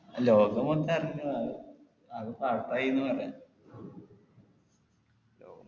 ലോകമൊത്തം അറിഞ്ഞു അത് അത് pass ആയിന്നു പറയാ